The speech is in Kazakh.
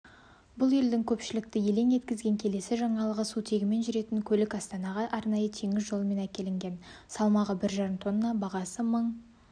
бұл елдің көпшілікті елең еткізген келесі жаңалығы сутегімен жүретін көлік астанаға арнайы теңіз жолымен әкелінген салмағы бір жарым тонна бағасы мың